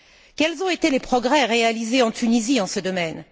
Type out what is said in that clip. Quels ont été les progrès réalisés en Tunisie en ce domaine?